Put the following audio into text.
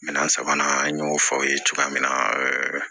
Minɛn sabanan an y'o fɔ aw ye cogoya min na